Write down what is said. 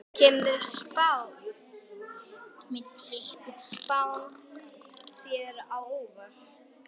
Kemur spáin þér á óvart?